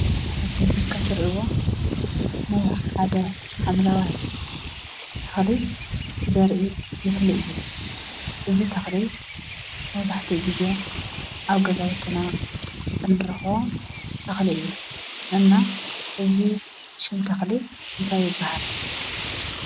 ኣብቲ ምስሊ ከም ትርእይዎ ናይ ሓደ ሓምለዋይ ተኽሊ ዘርኢ ምስሊ እዩ። እዚ ተኽሊ መብዛሕትኡ ግዜ ኣብ ገዛውትና እንረኽቦ ተኽሊ እዩ። እና ናይዚ ሽም ተኽሊ እንታይ ይባሃል?